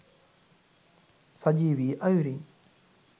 සජීවී අයුරින්